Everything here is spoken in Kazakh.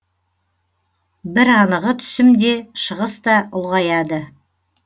бір анығы түсім де шығыс та ұлғаяды